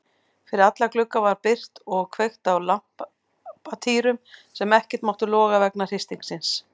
Fyrir alla glugga var byrgt og kveikt á lampatýrum sem ekkert máttu loga vegna hristingsins.